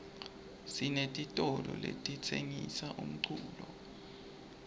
sinetitolo letitsengisa umculo